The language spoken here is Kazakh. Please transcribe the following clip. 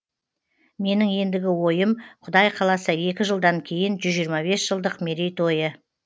менің ендігі ойым құдай қаласа екі жылдан кейін жүз жиырма бес жылдық мерейтойы